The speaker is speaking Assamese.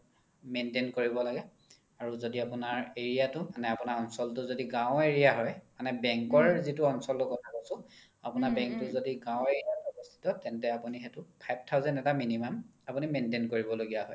maintain কৰিব লাগে আৰু যদি area তো মানে আপোনাৰ অঞ্চলতো যদি গাও area হয় bank ৰ যিতো অঞ্চলতোৰ কথা কৈছো আপোনাৰ bank তো যদি গাও area ত অৱস্থিত তেন্তে আপোনি সেইতো five thousand এটা minimum আপোনি maintain কৰিব লগিয়া হয়